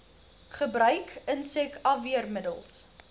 gebruik insek afweermiddels